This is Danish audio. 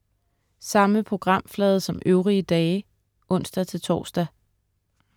Samme programflade som øvrige dage (ons-tors)